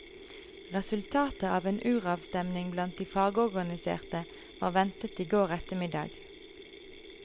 Resultatet av en uravstemning blant de fagorganiserte var ventet i går ettermiddag.